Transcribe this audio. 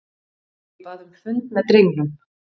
Ég bað um fund með drengnum.